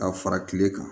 Ka fara kile kan